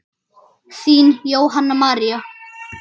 Þín Jóhanna María.